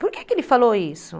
Por que que ele falou isso?